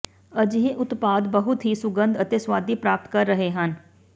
ਅਜਿਹੇ ਉਤਪਾਦ ਬਹੁਤ ਹੀ ਸੁਗੰਧ ਅਤੇ ਸੁਆਦੀ ਪ੍ਰਾਪਤ ਕਰ ਰਹੇ ਹਨ